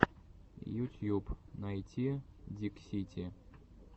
ютьюб найти диксити